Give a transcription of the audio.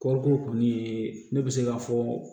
Kɔɔriko kɔni ne bɛ se k'a fɔ